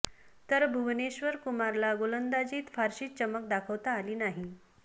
तर भुवनेश्वर कुमारला गोलंदाजीत फारशी चमक दाखवता आली नाही